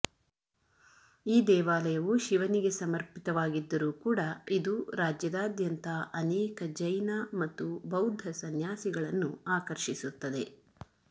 ಈ ದೇವಾಲಯವು ಶಿವನಿಗೆ ಸಮರ್ಪಿತವಾಗಿದ್ದರೂ ಕೂಡ ಇದು ರಾಜ್ಯದಾದ್ಯಂತ ಅನೇಕ ಜೈನ ಮತ್ತು ಬೌದ್ದ ಸನ್ಯಾಸಿಗಳನ್ನು ಆಕರ್ಷಿಸುತ್ತದೆ